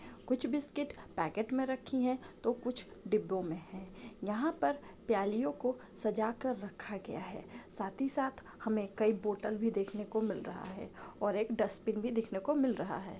कुछ biscuit packet में रखीं है तो कुछ डिब्बों में है। यहां पर प्यालियों को सजा कर रखा गया है साथ ही साथ हमे कई बोतल भी देखने को मिल रहा है और एक डस्टबिन भी देखने को मिल रहा है।